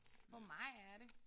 For mig er det